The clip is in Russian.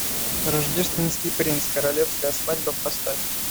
рождественский принц королевская свадьба поставь